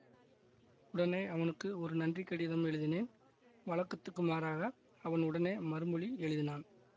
உடனே அவனுக்கு ஒரு நன்றி கடிதம் எழுதினேன் வழக்கத்துக்கு மாறாக அவன் உடனே மறுமொழி எழுதினான்